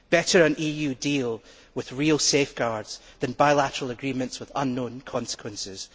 Better an EU deal with real safeguards than bilateral agreements with unknown consequences.